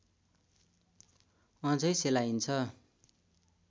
अझै सेलाइन्छ